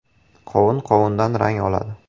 “Qovun qovundan rang oladi.